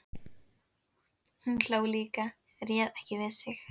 Hún hló líka, réð ekki við sig.